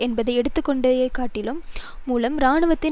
என்பதை எடுத்து காட்டியதன் மூலம் இராணுவத்தின்